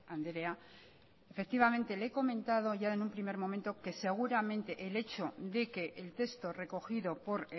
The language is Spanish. andrea efectivamente le he comentado ya en un primer momento que seguramente el hecho de que el texto recogido por